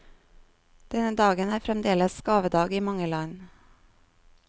Denne dagen er fremdeles gavedag i mange land.